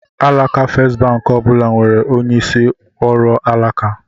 Alaka Festbank ọ bụla nwere onye isi ọrụ alaka.